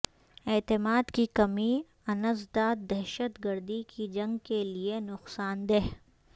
اعتماد کی کمی انسداد دہشت گردی کی جنگ کے لیے نقصان دہ